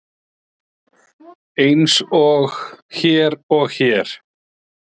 Eins og hér og hér.